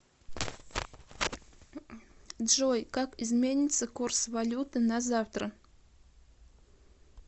джой как изменится курс валюты на завтра